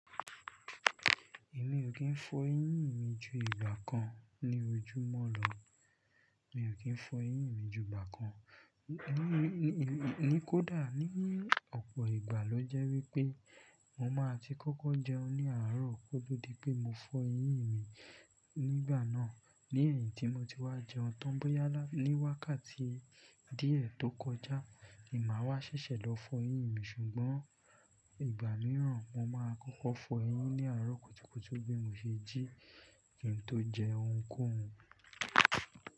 Èmi ò kí ń fọ eyín mi ju ìgbà kan ní ojúmọ́ lọ. Mi ò kí ń fọ eyín mi ju ìgbà kan. Kódà ní ọ̀pọ̀ ìgbà ló jẹ́ wípé mo máa ti kọ́kọ́ jẹun ní àárọ̀ kótò di pé mo fọ eyín mi nígbà náà. Lẹ̀yìn tí mo ti wá jẹun tán bóyá ní wákàtí díẹ̀ tó kọjá, ni máa wá ṣẹṣẹ lọ fọ eyín mi ṣùgbọ́n ìgbà mìíràn mo máa kọ́kọ́ fọ eyín ní àárọ̀ kùtùkùtù bí mo ṣe jí kí n tó jẹ ohunkóhun.